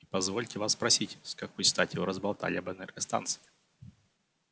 и позвольте вас просить с какой стати вы разболтали об энергостанции